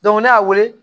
ne y'a weele